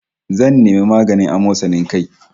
Zan nemi maganin amosanin kai